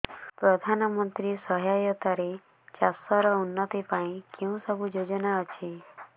ପ୍ରଧାନମନ୍ତ୍ରୀ ସହାୟତା ରେ ଚାଷ ର ଉନ୍ନତି ପାଇଁ କେଉଁ ସବୁ ଯୋଜନା ଅଛି